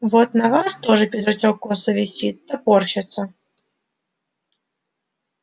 вот на вас тоже пиджачок косо висит топорщится